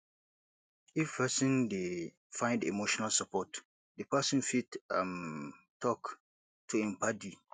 if person dey find emotional support di person fit um talk to im paddi